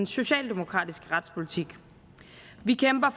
socialdemokratiske retspolitik vi kæmper